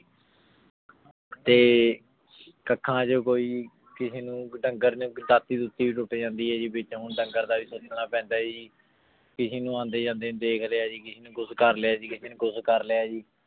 ਤੇ ਕਾਖਾਂ ਚ ਕੋਈ ਕਿਸੇ ਨੂ ਡੰਗਰ ਨੂ ਭੀ ਦਾਤੀ ਦੁਤਿ ਟੁਟ ਜਾਂਦੀ ਆਯ ਜੀ ਵਿਚੋਂ ਓਸ ਡੰਗਰ ਨੂ ਓਸ ਡੰਗਰ ਦਾ ਵੀ ਸੋਚਣਾ ਪੈਂਦਾ ਜੀ ਕਿਸੇ ਨੂ ਅੰਡੇ ਜਾਂਦੇ ਦੇਖ ਲਾਯਾ ਜੀ ਕਿਸੇ ਨੂ ਕੁਛ ਕਰ ਲਾਯਾ ਕਿਸੇ ਨੂ ਕੁਛ ਕਰ ਲਾਯਾ ਜੀ